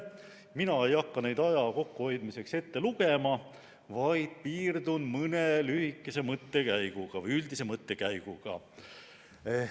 Mina ei hakka neid aja kokkuhoidmiseks ette lugema, vaid piirdun mõne lühikese või üldise mõttekäiguga.